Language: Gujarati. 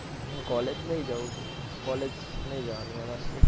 હું college નઈ જાઉં college નઈ જવાનું એમાં